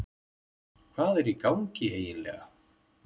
Hvað er í gangi eiginlega?